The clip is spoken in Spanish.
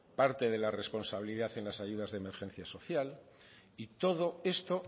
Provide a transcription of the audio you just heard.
parte de la responsabilidad en las ayudas de emergencia social y todo esto